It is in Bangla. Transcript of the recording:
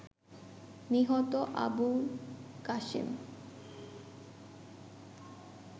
নিহত আবুলকাশেম